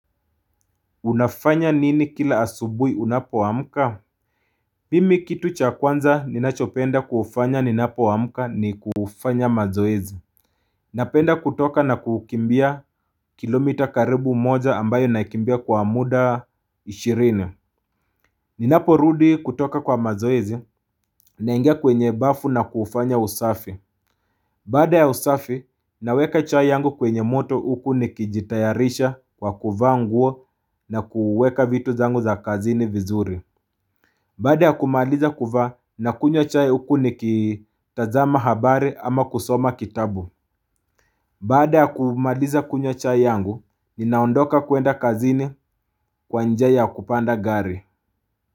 Unafanya nini kila asubuhi unapoamka? Mimi kitu cha kwanza ninachopenda kufanya ninapoamka ni kufanya mazoezi Napenda kutoka na kukimbia kilomita karibu moja ambayo naikimbia kwa muda ishirini Ninapo rudi kutoka kwa mazoezi Naingea kwenye bafu na kufanya usafi Baada ya usafi, naweka chai yangu kwenye moto huku nikijitayarisha kwa kuvaa nguo na kuweka vitu zangu za kazini vizuri. Baada ya kumaliza kuvaa nakunywa chai huku nikitazama habari ama kusoma kitabu. Baada ya kumaliza kunywa chai yangu, ninaondoka kuenda kazini kwa njia ya kupanda gari.